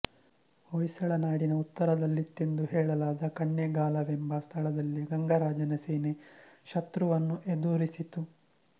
ಹೊಯ್ಸಳನಾಡಿನ ಉತ್ತರದಲ್ಲಿತ್ತೆಂದು ಹೇಳಲಾದ ಕಣ್ಣೇಗಾಲವೆಂಬ ಸ್ಥಳದಲ್ಲಿ ಗಂಗರಾಜನ ಸೇನೆ ಶತ್ರುವನ್ನು ಎದುರಿಸಿತು